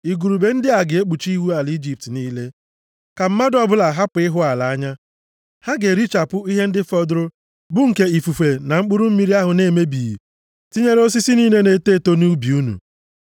Igurube ndị a ga-ekpuchi ihu ala Ijipt niile, ka mmadụ ọbụla hapụ ịhụ ala anya. Ha ga-erichapụ ihe ndị fọdụrụ bụ nke ifufe na mkpụrụ mmiri ahụ na-emebighị, tinyere osisi niile na-eto eto nʼubi unu.